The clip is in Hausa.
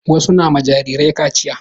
Wasu na ma jarirai kaciya.